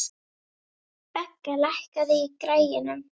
Begga, lækkaðu í græjunum.